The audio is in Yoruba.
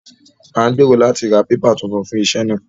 À ń gbèrò láti ra pépà tuntun fún iṣẹ́ náà